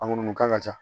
A munu kan ka ca